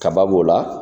Kaba b'o la